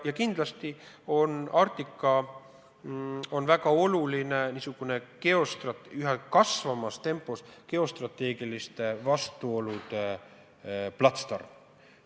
Ja kindlasti on Arktika väga oluline kui üha kasvavate geostrateegiliste vastuolude platsdarm.